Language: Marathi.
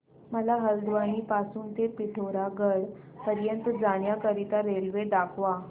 मला हलद्वानी पासून ते पिठोरागढ पर्यंत जाण्या करीता रेल्वे दाखवा